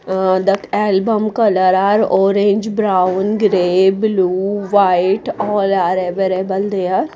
ah that album colour are orange brown grey blue white all are available there.